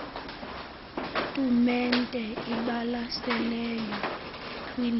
tumente ibalaseleyo kwindebe